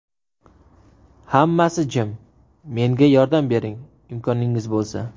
Hammasi jim... Menga yordam bering, imkoningiz bo‘lsa.